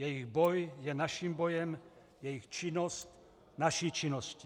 Jejich boj je naším bojem, jejich činnost, naší činností.